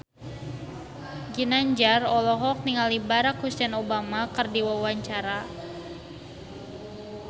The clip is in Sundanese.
Ginanjar olohok ningali Barack Hussein Obama keur diwawancara